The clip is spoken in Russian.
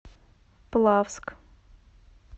плавск